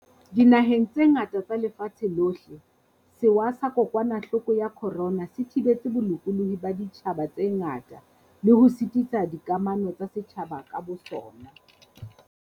Dinaheng tse ngata tsa lefatshe lohle, sewa sa kokwanahloko ya corona se thibetse bolokolohi ba ditjhaba tse ngata le ho sitisa dikamano tsa setjhaba ka bosona.